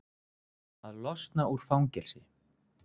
Að losna úr fangelsi?